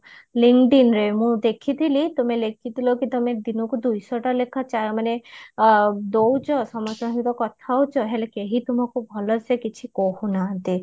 ରେ ମୁଁ ଦେଖିଥିଲି ତୁମେ ଲେଖିଥିଲକି ତମେ ଦିନକୁ ଦୁଇଶହଟା ଲେଖା ଚା ମାନେ ଦଉଚ ସମସ୍ତଙ୍କ ସହ କଥା ହଉଚ ହେଲେ କେହି ତୁମକୁ ଭଲସେ କିଛି କହୁନାହାନ୍ତି